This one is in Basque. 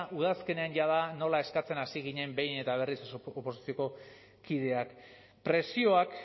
udazkenean jada nola eskatzen hasi ginen behin eta berriz oposizioko kideak presioak